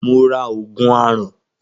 Mo ra Ògùn aràn